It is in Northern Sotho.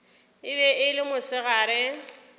e be e le mosegare